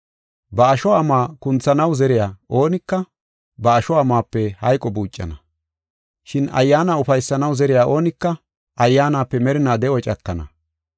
Ba asho amuwa kunthanaw zeriya oonika, ba asho amuwape hayqo buucana. Shin Ayyaana ufaysanaw zeriya oonika Ayyaanape merinaa de7o cakana.